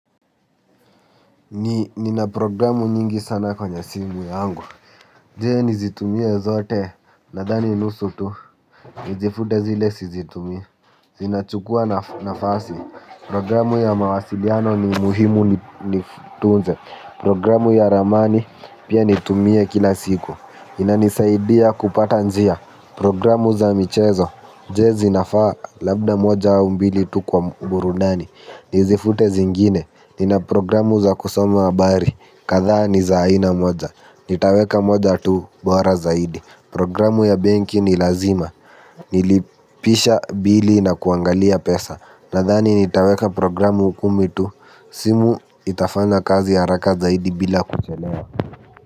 Nina programu nyingi sana kwenye simu yangu. Je, nizitumie zote? Nadhani nusu tu. Nizifute zile sizitumii. Zinachukua nafasi. Programu ya mawasiliano ni muhimu nitunze. Programu ya ramani pia nitumie kila siku. Inanisaidia kupata njia programu za michezo. Je, zinafaa? Labda moja au mbili tu kwa burudani. Nizifute zingine. Nina programu za kusoma habari kadhaa ni za aina moja. Nitaweka moja tu bora zaidi. Programu ya benki ni lazima. Nilipisha bili na kuangalia pesa. Nadhani nitaweka programu kumi tu. Simu itafanya kazi haraka zaidi bila kuchelewa.